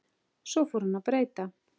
Svo fór hún að breyta.